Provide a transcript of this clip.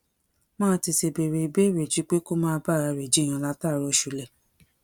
máa tètè béèrè ìbéèrè ju pé kó máa bára rẹ̀ jiyàn látàárọ̀ ṣúlẹ̀